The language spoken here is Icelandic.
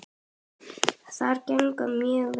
Það gengur mjög vel.